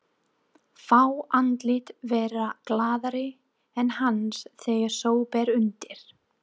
Fá andlit verða glaðari en hans þegar svo ber undir.